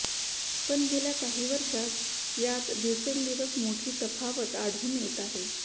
पण गेल्या काही वर्षात यात दिवसेंदिवस मोठी तफावत आढळून येत आहे